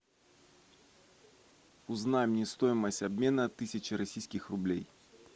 узнай мне стоимость обмена тысячи российских рублей